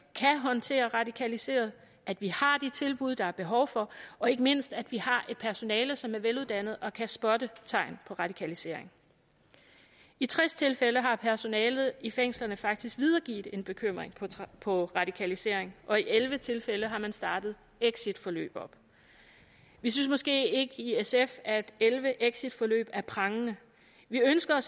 kan håndtere radikaliserede at vi har de tilbud der er behov for og ikke mindst at vi har et personale som er veluddannet og kan spotte tegn på radikalisering i tres tilfælde har personalet i fængslerne faktisk videregivet en bekymring for radikalisering og i elleve tilfælde har man startet exitforløb vi synes måske ikke i sf at elleve exitforløb er prangende vi ønsker